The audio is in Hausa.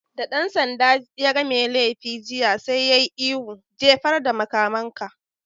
Da ɗan sanda yaga mai laifi jiya, sai ya yi ihu "Jefar da makamanka!